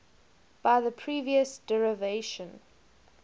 by the previous derivation